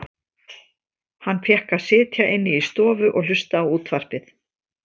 Hann fékk að sitja inni í stofu og hlusta á útvarpið.